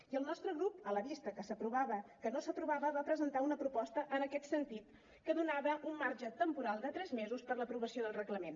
i el nostre grup a la vista que no s’aprovava va presentar una proposta en aquest sentit que donava un marge temporal de tres mesos per a l’aprovació del reglament